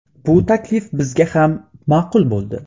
Bu taklif bizga ham ma’qul bo‘ldi.